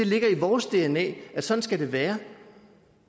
ligger i vores dna at sådan skal det være